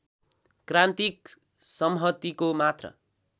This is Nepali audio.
क्रान्तिक सम्हतिको मात्रा